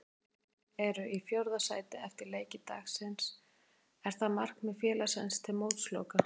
Valsmenn eru í fjórða sæti eftir leiki dagsins, er það markmið félagsins til mótsloka?